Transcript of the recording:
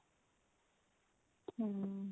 hm